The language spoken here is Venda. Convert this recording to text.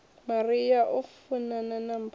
maria o funana na mpho